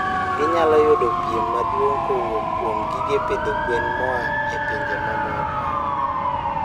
Ginyalo yudo piem maduong' kowuok kuom gige pidho gwen moa e pinje mamoko.